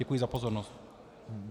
Děkuji za pozornost.